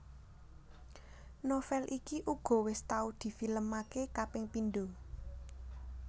Novel iki uga wis tau di film aké kaping pindho